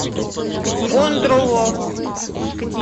кондрово